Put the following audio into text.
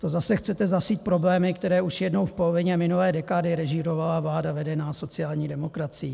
To zase chcete zasít problémy, které už jednou v polovině minulé dekády režírovala vláda vedená sociální demokracií?